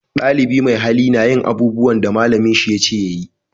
Dalibi mai hali na yin abubuwan da malamin shi ya ce ya yi